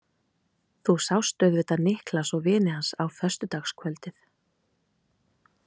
Þú sást auðvitað Niklas og vini hans á föstudagskvöldið.